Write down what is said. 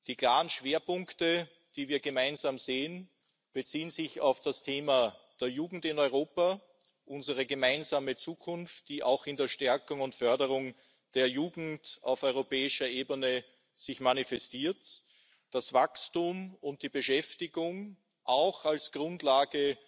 Die klaren Schwerpunkte, die wir gemeinsam sehen, beziehen sich auf das Thema der Jugend in Europa, unsere gemeinsame Zukunft, die sich auch in der Stärkung und Förderung der Jugend auf europäischer Ebene manifestiert, das Wachstum und die Beschäftigung auch als Grundlage